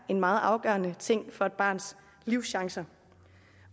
en meget afgørende ting for et barns livschancer